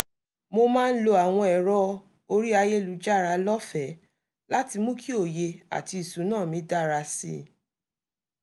mo máa ń lo àwọn èrò orí ayélujára lọ́fẹ̀ẹ́ láti mú kí òye àti ìsúná mi dára sí i